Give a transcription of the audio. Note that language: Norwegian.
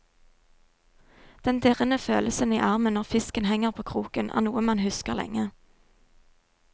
Den dirrende følelsen i armen når fisken henger på kroken, er noe man husker lenge.